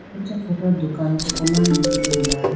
acha photo dukan koko mane tulitegala.